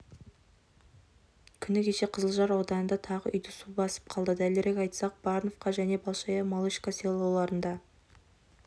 күні кеше қызылжар ауданында тағы үйді су басып қалды дәлірек айтсақ барнвка және большая малышка селоларында